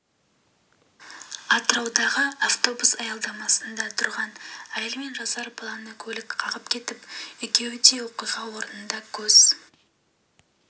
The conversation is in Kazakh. атыраудағы автобус аялдамасында тұрған әйел мен жасар баланы көлік қағып кетіп екеуі де оқиға орнында көз